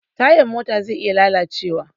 Tayan mota zai iya lalacewa.